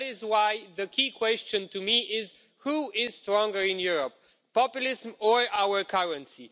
That is why the key question for me is who is stronger in Europe populism or our currency?